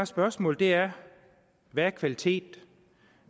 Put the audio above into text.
spørgsmålet er hvad kvalitet